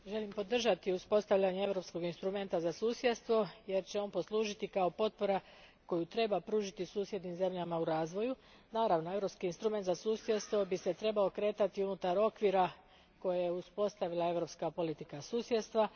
Gospođo predsjedavajuća, želim podržati uspostavljanje europskog instrumenta za susjedstvo jer će on poslužiti kao potpora koju treba pružiti susjednim zemljama u razvoju. Naravno, europski instrument za susjedstvo trebao bi se kretati unutar okvira koji je uspostavila europska politika susjedstva.